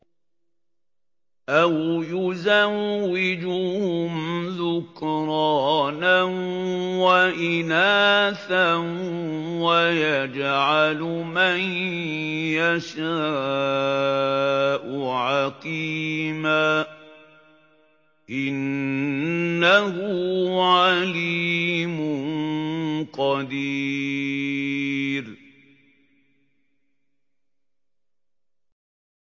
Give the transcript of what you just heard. أَوْ يُزَوِّجُهُمْ ذُكْرَانًا وَإِنَاثًا ۖ وَيَجْعَلُ مَن يَشَاءُ عَقِيمًا ۚ إِنَّهُ عَلِيمٌ قَدِيرٌ